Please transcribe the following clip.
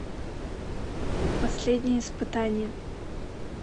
последнее испытание